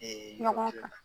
ɲɔgɔn kan .